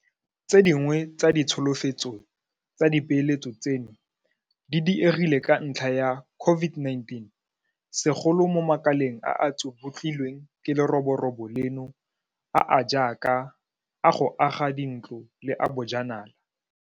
Tse dingwe tsa ditsholofetso tsa dipeeletso tseno di diegile ka ntlha ya COVID-19, segolo mo makaleng a a tsubutlilweng ke leroborobo leno a a jaaka a go aga dintlo le a bojanala.